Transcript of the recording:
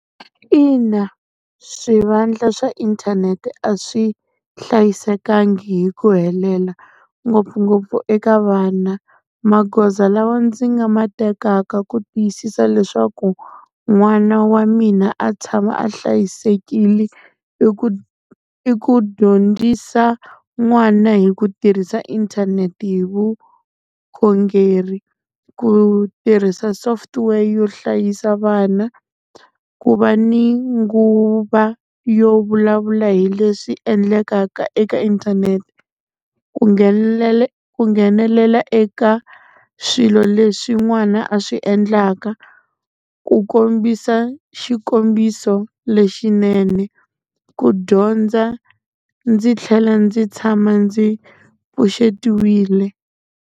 Ina swivandla swa inthanete a swi hlayisekangi hi ku helela, ngopfungopfu eka vana. Magoza lawa ndzi nga ma tekaka ku tiyisisa leswaku n'wana wa mina a tshama a hlayisekile, i ku i ku dyondzisa n'wana hi ku tirhisa inthanete hi vukhongeri ku tirhisa software yo hlayisa vana, ku va ni nguva yo vulavula hi leswi endlekaka eka inthanete. Ku ku nghenelela eka swilo leswi n'wana a swi endlaka, ku kombisa xikombiso lexinene, ku dyondza ndzi tlhela ndzi tshama ndzi pfuxetiwile.